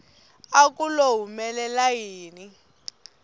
a ku lo humelela yini